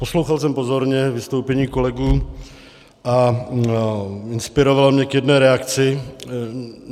Poslouchal jsem pozorně vystoupení kolegů a inspirovalo mě k jedné reakci.